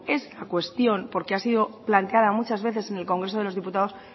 esta cuestión porque ha sido plantada muchas veces en el congreso de los diputados